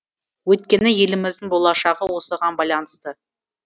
өйткені еліміздің болашағы осыған байланысты